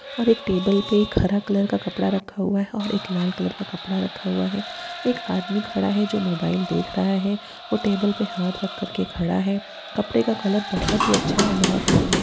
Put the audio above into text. एक टेबल पे हरा कलर का कपड़ा रखा हुआ है और एक लाल कलर का कपड़ा रखा हुआ है| एक आदमी खड़ा है जो मोबाइल देख रहा है और टेबुल पे हाथ रखकर के खड़ा है| कपड़े का कलर बहुत ही अच्छा है और बहुत ही सुन्दर|